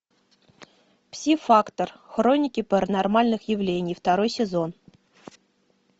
пси фактор хроники паранормальных явлений второй сезон